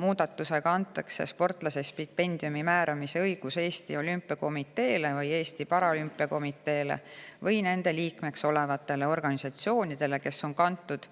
Muudatusega antakse sportlase stipendiumi määramise õigus Eesti Olümpiakomiteele või Eesti Paraolümpiakomiteele või nende liikmeks olevatele organisatsioonidele, kes on kantud